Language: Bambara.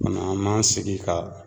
O kumana , an m'an sigi ka